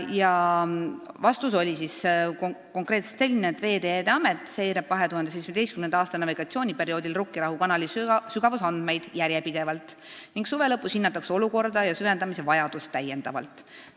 Vastus oli siis konkreetselt selline: Veeteede Amet seirab 2017. aasta navigatsiooniperioodil Rukkirahu kanali sügavusandmeid järjepidevalt ning suve lõpus hinnatakse olukorda ja süvendamise vajadust täiendavalt.